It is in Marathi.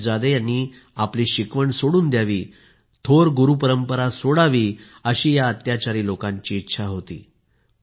साहिबजादे यांनी आपली शिकवण सोडून द्यावी थोर गुरुपरंपरा सोडावी अशी या अत्याचारी लोकांची इच्छा होती